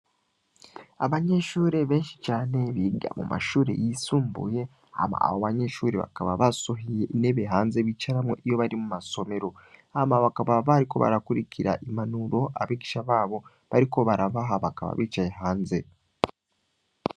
Abanyeshure benshi cane, biga mu mashure yisumbuye, hama abo banyeshure bakaba basohoye intebe hanze bicaramwo iyo bari mu masomero; hama bakaba bariko barakurikira impanuro abigisha babo bariko barabaha, bakaba bicaye hanze.